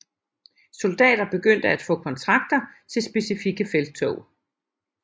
Soldater begyndte at få kontrakter til specifikke felttog